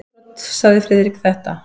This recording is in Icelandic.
Um innbrot sagði Friðrik þetta: